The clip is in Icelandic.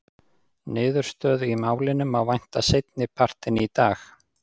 Niðurstöðu í málinu má vænta seinni partinn í dag.